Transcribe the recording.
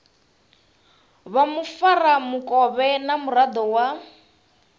vha mufaramukovhe na muraḓo wa